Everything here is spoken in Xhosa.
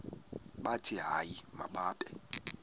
bathi hayi mababe